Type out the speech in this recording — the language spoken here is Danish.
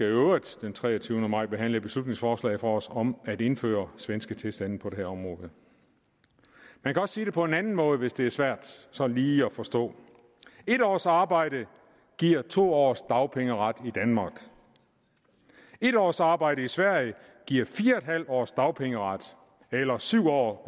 øvrigt den treogtyvende maj skal behandle et beslutningsforslag fra os om at indføre svenske tilstande på det her område man kan også sige det på en anden måde hvis det er svært sådan lige at forstå en års arbejde giver to års dagpengeret i danmark en års arbejde i sverige giver fire en halv års dagpengeret eller syv år